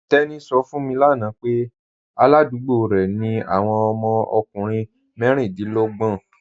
Teni sọ̀ fún mi lána pẹ̀ aládùgbò rẹ ni awọn ọmọ ọkùnrin mẹríndínlọ̀gbọn